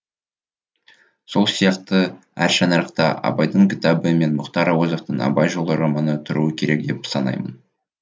сол сияқты әр шаңырақта абайдың кітабы мен мұхтар әуезовтің абай жолы романы тұруы керек деп санаймын